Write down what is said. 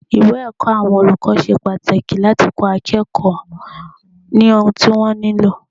Ìwé ẹ̀kọ́ àwọn olùkọ́ ṣe pàtàkì láti kó akẹ́kọ̀ọ́ ní ohun tí wọ́n nílò.